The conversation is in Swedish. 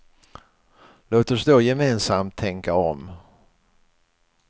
Låt oss då gemensamt tänka om.